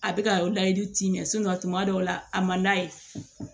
A bɛ ka layidu ci mɛ tuma dɔw la a man d'a ye